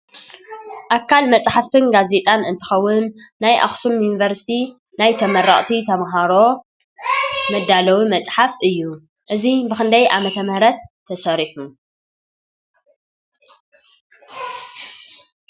ኣካል መፅሓፍትን ጋዜጣን እትከውን ናይ ኣክሱም ዩኒቨርስቲ ናይ ተመረቅቲ ተማሃሮ ዝተዳለወ መፅሓፍ እዩ። እዚ ብክንዳይ ዓመተ ምህረት ተሰሪሑ ?